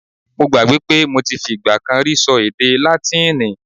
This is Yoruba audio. Mo gbàgbé pé mo ti fi ìgbà kan rí ṣọ èdè Látíìnì.